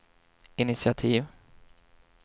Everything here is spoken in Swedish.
initiativ